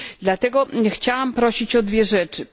Dlatego chciałabym prosić o dwie rzeczy.